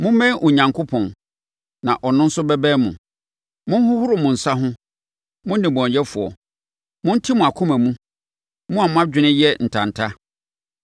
Mommɛn Onyankopɔn, na ɔno nso bɛbɛn mo. Monhohoro mo nsa ho, mo nnebɔneyɛfoɔ! Monte mo akoma mu, mo a mo adwene yɛ ntanta!